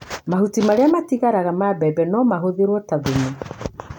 Mahuti marĩa matigaraga ma mbembe no matũmĩrwo ta thumu.